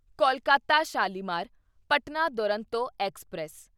Kolkata Shalimar Patna Duronto express